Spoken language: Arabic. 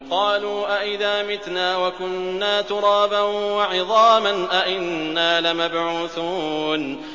قَالُوا أَإِذَا مِتْنَا وَكُنَّا تُرَابًا وَعِظَامًا أَإِنَّا لَمَبْعُوثُونَ